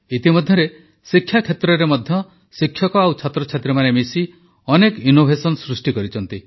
ଇତିମଧ୍ୟରେ ଶିକ୍ଷା କ୍ଷେତ୍ରରେ ମଧ୍ୟ ଶିକ୍ଷକ ଓ ଛାତ୍ରଛାତ୍ରୀମାନେ ମିଶି ଅନେକ ଅଭିନବ ଜିନିଷ ସୃଷ୍ଟି କରିଛନ୍ତି